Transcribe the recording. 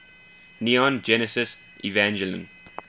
neon genesis evangelion